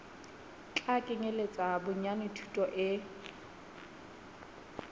tla kenyeletsa bonyane thuto e